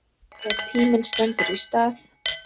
Þegar tíminn stendur í stað